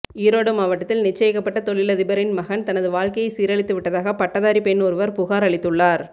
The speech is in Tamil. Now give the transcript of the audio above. ஈரோடு மாவட்டத்தில் நிச்சயிக்கப்பட்ட தொழிலதிபரின் மகன் தனது வாழ்க்கையை சீரழித்துவிட்டதாக பட்டதாரி பெண் ஒருவர் புகார் அளித்துள்ளார்